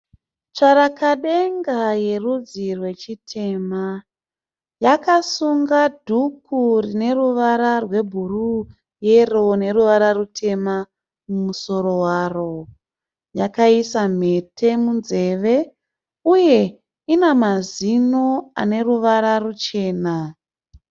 Tsvarakadenga yerudzi rwechiyema. Yakasunga dhuku rine ruvara rwebhuru, yero neruvara rutema mumusoro waro. Yakaisa mhete munzeve uye ina mazino ane ruvara ruchema.